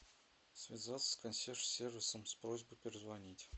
связаться с консьерж сервисом с просьбой перезвонить